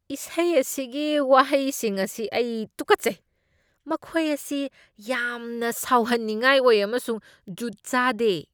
ꯏꯁꯩ ꯑꯁꯤꯒꯤ ꯋꯥꯍꯩꯁꯤꯡ ꯑꯁꯤ ꯑꯩ ꯇꯨꯀꯠꯆꯩ꯫ ꯃꯈꯣꯏ ꯑꯁꯤ ꯌꯥꯝꯅ ꯁꯥꯎꯍꯟꯅꯤꯡꯉꯥꯏ ꯑꯣꯏ ꯑꯃꯁꯨꯡ ꯖꯨꯠ ꯆꯥꯗꯦ꯫